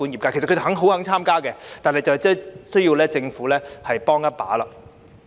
他們其實十分願意參與，但需要政府幫一把。